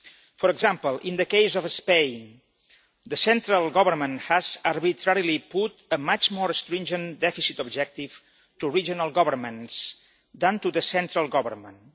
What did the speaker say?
For example, in the case of Spain, the central government has arbitrarily put a much more stringent deficit objective to regional governments than to the central government.